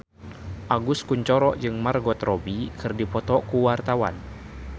Agus Kuncoro jeung Margot Robbie keur dipoto ku wartawan